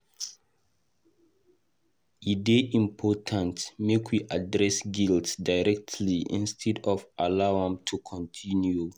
E dey important make we address guilt directly instead of to allow am to continue.